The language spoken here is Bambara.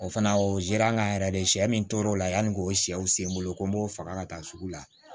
O fana o zera an ka yɛrɛ de sɛ min tor'o la yanni k'o sɛw sen n bolo ko n b'o faga ka taa sugu la